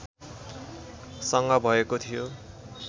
सँग भएको थियो